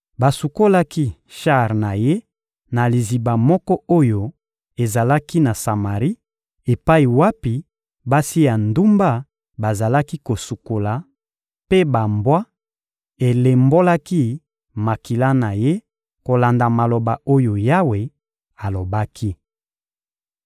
Basukolaki shar na ye na liziba moko oyo ezalaki na Samari epai wapi basi ya ndumba bazalaki kosukola; mpe bambwa elembolaki makila na ye kolanda maloba oyo Yawe alobaki.